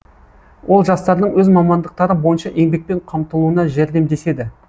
ол жастардың өз мамандықтары бойынша еңбекпен қамтылуына жәрдемдеседі